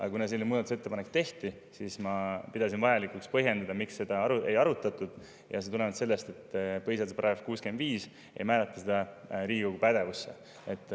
Aga kuna selline muudatusettepanek tehti, siis ma pidasin vajalikuks põhjendada, miks seda ei arutatud, ja see tulenes sellest, et põhiseaduse § 65 ei määratle seda Riigikogu pädevusse.